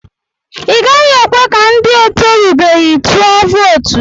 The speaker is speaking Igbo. I gaghị ekwe ka ndị etorubeghi tụọ vootu.